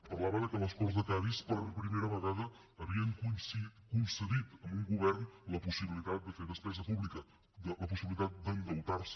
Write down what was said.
parlava de que les corts de cadis per primera vegada havien concedit a un govern la possibilitat de fer despesa pública la possibilitat d’endeutar se